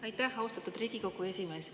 Aitäh, austatud Riigikogu esimees!